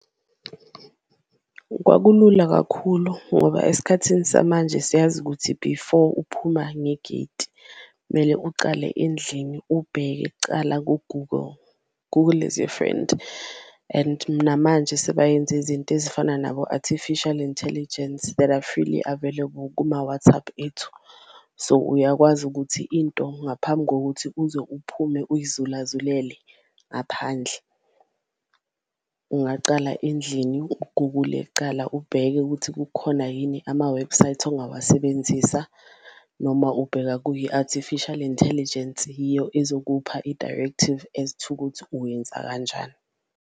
Kwakulula kakhulu ngoba esikhathini samanje siyazi ukuthi before uphuma ngegeti kumele ucale endlini ubheke kucala ku-Google, Google is your friend and namanje sebayenze izinto ezifana nabo-artificial intelligence that are freely available kuma-WhatsApp ethu. So uyakwazi ukuthi into ngaphambi kokuthi uze uphume uyizulazulele ngaphandle, ungacala endlini u-Google-le kucala ubheke ukuthi kukhona yini amawebhusayithi ongawasebenzisa noma ubheka kuyo i-artificial intelligence yiyo izokupha i-directive as to ukuthi uwenza kanjani.